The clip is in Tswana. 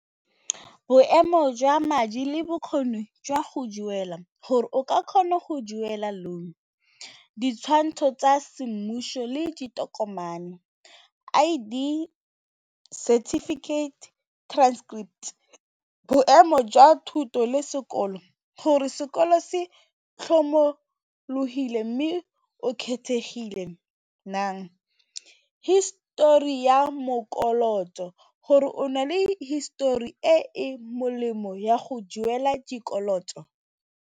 Boemo jwa madi le bokgoni jwa go duela gore o ka kgona go duela loan, ditshwantsho tsa semmuso le ditokomane, I_D, certificate, transcript, boemo jwa thuto le sekolo gore sekolo se mme o kgethegile naa, history ya gore o na le histori e e molemo ya go duela dikoloto.